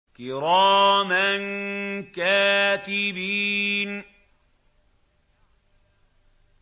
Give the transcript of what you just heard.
كِرَامًا كَاتِبِينَ